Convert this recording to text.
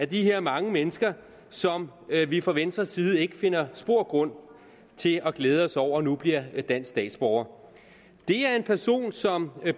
de her mange mennesker som vi fra venstres side ikke finder spor grund til at glæde os over nu bliver dansk statsborger det er en person som